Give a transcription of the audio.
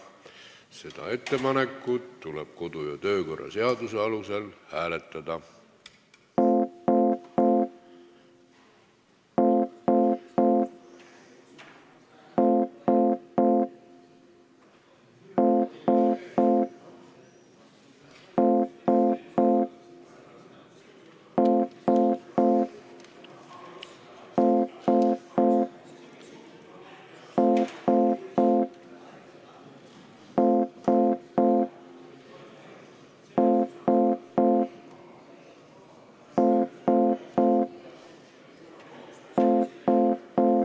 Seda ettepanekut tuleb kodu- ja töökorra seaduse alusel hääletada.